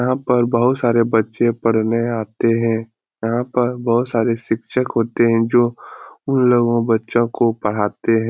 यहाँ पर बहुत सारे बच्चे पढ़ने आते है यहाँ पर बहुत सारे शिक्षक होते है जो उन लोगो बच्चो को पढ़ाते है।